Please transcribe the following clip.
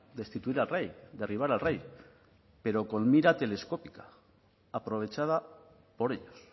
destituir al rey derribar al rey pero con mira telescópica aprovechada por ellos